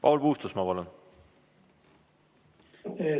Paul Puustusmaa, palun!